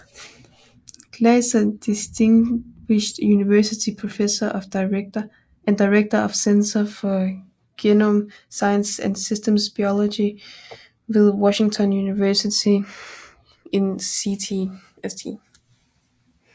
Glaser Distinguished University Professor and Director af Center for Genome Sciences and Systems Biology ved Washington University in St